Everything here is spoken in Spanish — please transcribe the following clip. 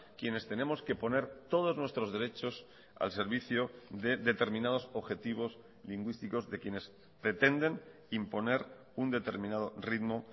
quienes tenemos que poner todos nuestros derechos al servicio de determinados objetivos lingüísticos de quienes pretenden imponer un determinado ritmo